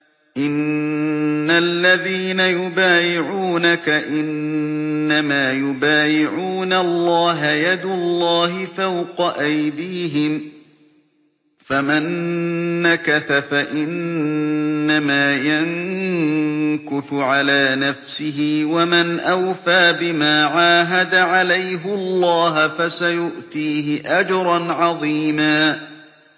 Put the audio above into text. إِنَّ الَّذِينَ يُبَايِعُونَكَ إِنَّمَا يُبَايِعُونَ اللَّهَ يَدُ اللَّهِ فَوْقَ أَيْدِيهِمْ ۚ فَمَن نَّكَثَ فَإِنَّمَا يَنكُثُ عَلَىٰ نَفْسِهِ ۖ وَمَنْ أَوْفَىٰ بِمَا عَاهَدَ عَلَيْهُ اللَّهَ فَسَيُؤْتِيهِ أَجْرًا عَظِيمًا